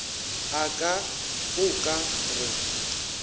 a ka o ka re